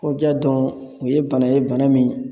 Kɔja dun o ye bana ye bana min